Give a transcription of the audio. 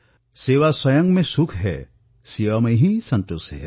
সেৱা স্বয়ং এক সুখ সেৱা স্বয়ং এক সন্তোষ